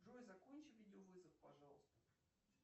джой закончи видеовызов пожалуйста